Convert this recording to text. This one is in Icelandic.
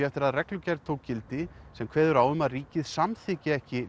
eftir að reglugerð tók gildi sem kveður á um að ríkið samþykki ekki